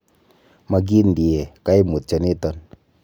Mokindie koimutioniton.